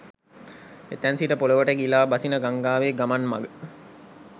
එතැන් සිට පොළවට ගිලා බසින ගංඟාවේ ගමන් මග